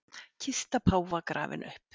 Kista páfa grafin upp